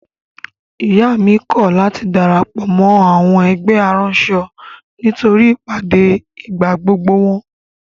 Ìyá mi kọ̀ láti darapọ̀ mọ́ àwọn ẹgbẹ́ aránṣọ nítorí ìpàdé ìgbàgbogbo wọn.